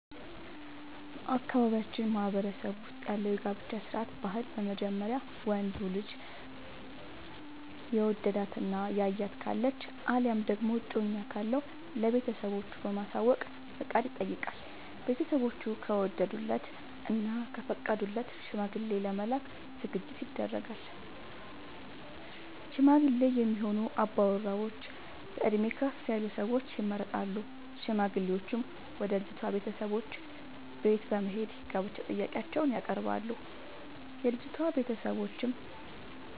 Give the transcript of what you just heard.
በአካባቢያችን ማህበረሰብ ውስጥ ያለው የጋብቻ ስርዓት/ ባህል በመጀመሪያ ወንዱ ልጅ የወደዳት እና ያያት ካለች አለያም ደግሞ እጮኛ ካለው ለቤተሰቦቹ በማሳወቅ ፍቃድ ይጠይቃል። ቤተስቦቹ ከወደዱለት እና ከፈቀዱለት ሽማግሌ ለመላክ ዝግጅት ይደረጋል። ሽማግሌ የሚሆኑ አባወራዎች በእድሜ ከፍ ያሉ ሰዎች ይመረጣሉ። ሽማግሌዎቹም ወደ ልጅቷ ቤተሰቦች በት በመሄድ የጋብቻ ጥያቄአቸውን ያቀርባሉ። የልጂቷ ቤተሰቦችም